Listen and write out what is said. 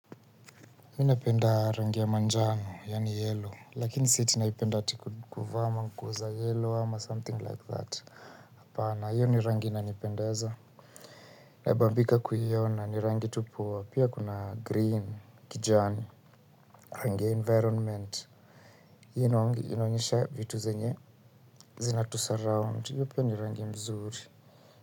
Mimi napenda rangi ya manjano, yaani Yellow, lakini si ati naipenda ati kuvaa mango za yellow, ama something like that. Hapana, hiyo ni rangi inanipendeza. Nabambika kuiona, ni rangi tu poa, pia kuna Green, kijani. Rangi ya 'environment'. Hino, inaonyesha vitu zenye. Zina tusurround, hiyo pia ni rangi mzuri.